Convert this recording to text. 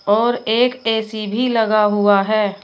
और एक ए_सी भी लगा हुआ है।